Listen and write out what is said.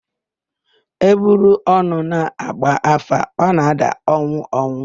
E buru ọnụ na-agba áfá, ọ na-ada ọnwụ ọnwụ.